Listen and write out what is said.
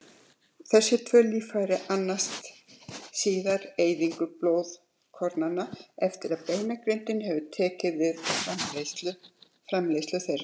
Þessi tvö líffæri annast síðar eyðingu blóðkornanna eftir að beinagrindin hefur tekið við framleiðslu þeirra.